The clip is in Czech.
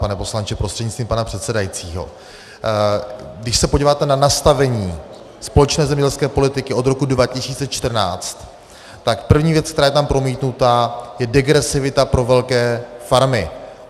Pane poslanče prostřednictvím pana předsedajícího, když se podíváte na nastavení společné zemědělské politiky od roku 2014, tak první věc, která je tam promítnuta, je degresivita pro velké farmy.